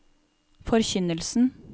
forkynnelsen